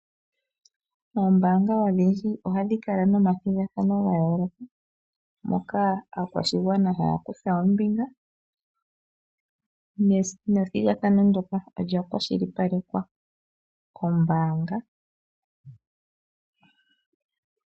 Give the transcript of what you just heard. Oombanga odhindji ohadhi kala momathigadhano gayoloka, moka aakwashigwana haya kutha ombinga nethigathano ndoka olya kwashilipalekwa kombanga.